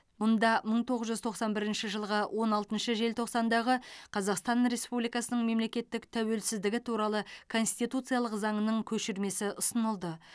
мұнда мың тоғыз жүз тоқсан бірінші жылғы он алтыншы желтоқсандағы қазақстан республикасының мемлекеттік тәуелсіздігі туралы конституциялық заңның көшірмесі ұсынылды